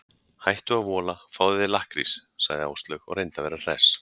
Hættu að vola, fáðu þér lakkrís sagði Áslaug og reyndi að vera hress.